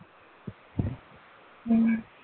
ਹਮ